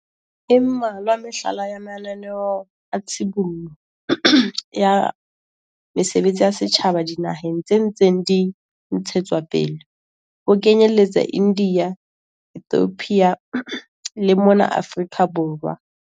E mmalwa mehlala ya mananeo a tshibollo ya mesebetsi ya setjhaba dinaheng tse ntseng di ntshetswapele, ho kenyeletsa India, Ethiopia le mona Afrika Borwa.